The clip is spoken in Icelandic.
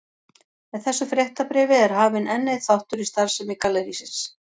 Með þessu fréttabréfi er hafinn enn einn þáttur í starfsemi gallerísins.